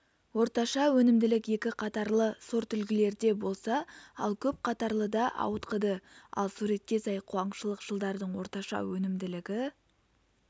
орташа өнімділік екі қатарлы сортүлгілерде болса ал көп қатарлыда ауытқыды ал суретке сай қуаңшылық жылдардың орташа өнімділігі